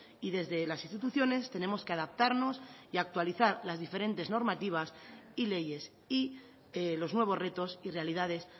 y desde las instituciones tenemos que adaptarnos y actualizar las diferentes normativas y leyes y los nuevos retos y realidades